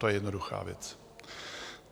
To je jednoduchá věc.